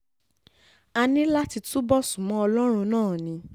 a ní láti túbọ̀ sún mọ́ ọlọ́run náà ni